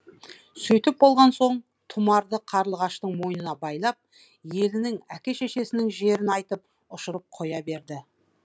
сөйтіп болған соң тұмарды қарлығаштың мойнына байлап елінің әке шешесінің жерін айтып ұшырып қоя берді